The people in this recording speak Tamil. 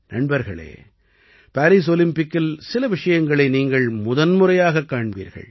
நண்பர்களே பாரீஸ் ஒலிம்பிக்கில் சில விஷயங்களை நீங்கள் முதன்முறையாகக் காண்பீர்கள்